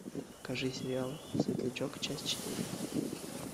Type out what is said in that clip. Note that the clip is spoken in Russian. покажи сериал светлячок часть четыре